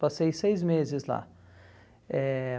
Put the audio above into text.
Passei seis meses lá. Eh